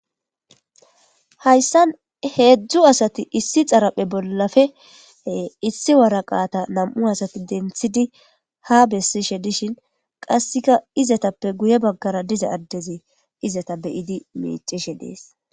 Hayssan hedzdzu asati issi xaraphe bollappe issi waraqata nam'u asati denththidi haa bessishe dishin qassikka izetappe guye bagaara diza addezi izeta be'idi miicshe dees.